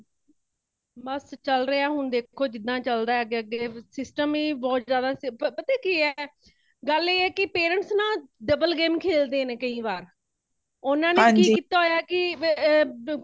ਬੱਸ ਚੱਲ ਰਹਿਆ ਹੇ ਹੋਣ ਦੇਖੋ ਕਿਦਾਂ ਚਲਦਾ ਹੇ ਅੱਗੇ ਅੱਗੇ , system ਹੀ ਬਹੁਤ ਜ਼ਿਆਦਾ ਪ ਪਤਾ ਕਿਹੇ ,ਗੱਲ ਇਹ ਕੀ parents ਨਾ double game ਖੇਲਦੇ ਨੇ ਕਈ ਵਾਰ ਉਨ੍ਹਾਂ ਨੇ ਕੀ ਕੀਤਾ ਹੋਈਆਂ ਕੀ ਆ ਪ